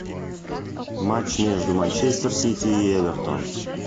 матч между манчестер сити и эвертон